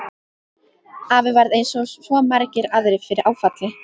Afi varð eins og svo margir aðrir fyrir áfalli.